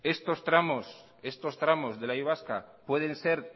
estos tramos de la y vasca pueden ser